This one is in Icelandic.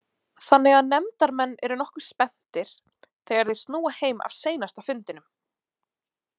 Þannig að nefndarmenn eru nokkuð spenntir þegar þeir snúa heim af seinasta fundinum.